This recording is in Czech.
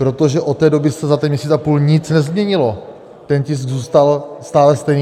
Protože od té doby se za ten měsíc a půl nic nezměnilo, ten tisk zůstal stále stejný.